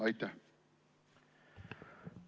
Aitäh!